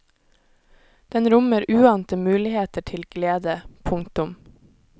Den rommer uante muligheter til glede. punktum